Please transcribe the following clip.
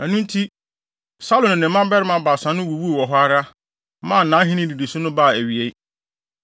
Ɛno nti, Saulo ne ne mma mmarima baasa no wuwuu hɔ ara, maa nʼahenni nnidiso no baa awiei.